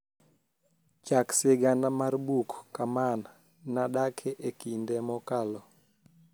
chak sigana mar buk kamaan nadake e kinde mokalo